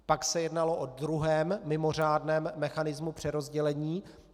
Pak se jednalo o druhém mimořádném mechanismu přerozdělení.